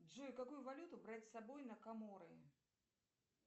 джой какую валюту брать с собой на каморы